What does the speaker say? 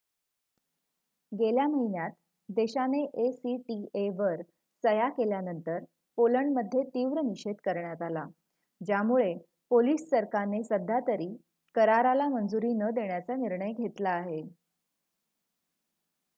गेल्या महिन्यात देशाने acta वर सह्या केल्यानंतर पोलंडमध्ये तीव्र निषेध करण्यात आला ज्यामुळे पोलिश सरकारने सध्यातरी कराराला मंजुरी न देण्याचा निर्णय घेतला आहे